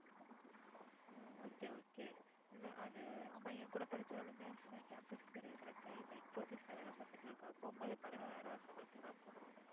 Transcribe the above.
okay okay இல்லை அது ஆமா என் கூட படிச்சவளுமே அப்படித்தான் campus interview select ஆயி இப்போ infosys ல வேலை பார்த்துட்டு இருக்கா போகும்போது பதினோராயிரம் ரூபாய் சம்பளத்துக்குதான் போனா